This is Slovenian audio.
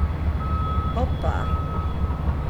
Opa.